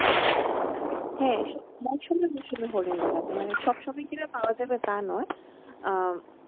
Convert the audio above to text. হ্যাঁ, মরশুমে মরশুমে হরিণ দেখা যায় মানে সব সময় পাওয়া যাবে তা নয় আহ